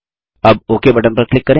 अब OK button पर click करें